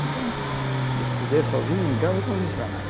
Então, estudei sozinho em casa com dicionário.